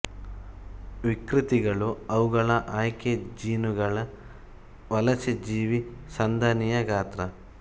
ವಿಕೃತಿಗಳು ಅವುಗಳ ಆಯ್ಕೆ ಜೀನುಗಳ ವಲಸೆ ಜೀವಿ ಸಂದಣಿಯ ಗಾತ್ರ